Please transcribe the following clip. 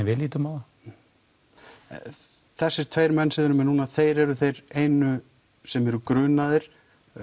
við lítum á það þessir tveir menn sem þið með núna þeir eru þeir einu sem eru grunaðir